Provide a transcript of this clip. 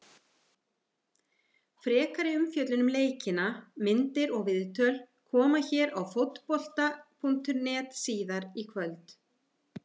Frekari umfjöllun um leikina, myndir og viðtöl, koma hér á Fótbolta.net síðar í kvöld.